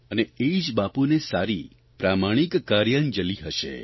અને એ જ બાપુને સારી પ્રામાણિક કાર્યાંજલિ હશે